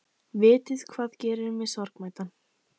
Vitiði hvað gerir mig sorgmæddan?